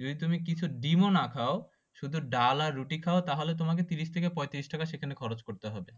যদি তুমি কিছু ডিম্ ও না খাও শুধু ডাল আর রুটি খাও তোমার ত্রিশ থেকে পঁয়ত্রিশ টাকা সেখানে খরচ করতে হবে